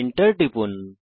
Enter টিপুন